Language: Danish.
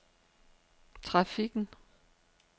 trafikken